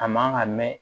A man ka mɛ